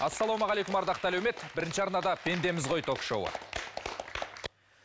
ассалаумағалейкум ардақты әлеумет бірінші арнада пендеміз ғой ток шоуы